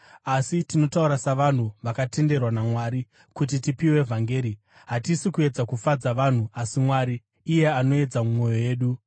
Asi, tinotaura savanhu vakatenderwa naMwari kuti tipiwe vhangeri. Hatisi kuedza kufadza vanhu asi Mwari, iye anoedza mwoyo yedu.